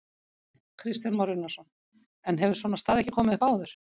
Kristján Már Unnarsson: En hefur svona staða ekki komið upp áður?